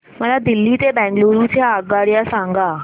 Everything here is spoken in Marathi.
मला दिल्ली ते बंगळूरू च्या आगगाडया सांगा